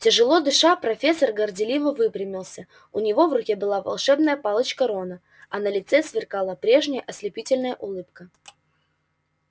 тяжело дыша профессор горделиво выпрямился у него в руке была волшебная палочка рона а на лице сверкала прежняя ослепительная улыбка